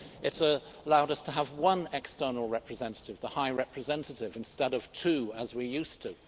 It allowed us to have one external representative the High Representative instead of two as we used to.